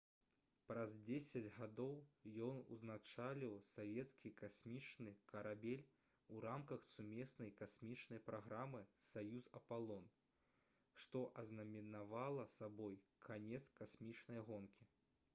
праз дзесяць гадоў ён узначаліў савецкі касмічны карабель у рамках сумеснай касмічнай праграмы «саюз-апалон» што азнаменавала сабой канец касмічнай гонкі